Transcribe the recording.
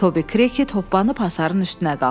Tobi Krit hoppanıb hasarın üstünə qalxdı.